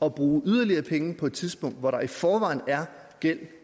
at bruge yderligere penge på et tidspunkt hvor der i forvejen er gæld